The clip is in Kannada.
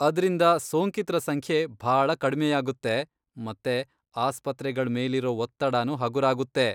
ಅದ್ರಿಂದ ಸೋಂಕಿತ್ರ ಸಂಖ್ಯೆ ಭಾಳ ಕಡ್ಮೆಯಾಗುತ್ತೆ ಮತ್ತೆ ಆಸ್ಪತ್ರೆಗಳ್ ಮೇಲಿರೋ ಒತ್ತಡನೂ ಹಗುರಾಗುತ್ತೆ.